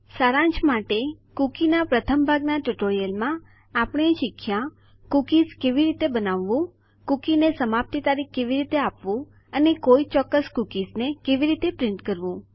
સારાંશ માટે - કૂકીના પ્રથમ ભાગના ટ્યુટોરીયલમાં આપણે શીખ્યા કૂકીઝ કેવી રીતે બનાવવું કુકીને સમાપ્તિ તારીખ કેવી રીતે આપવું અને કોઈ ચોક્કસ કૂકીઝને કેવી રીતે પ્રિન્ટ કરવું